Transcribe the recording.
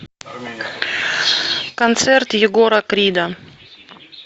концерт егора крида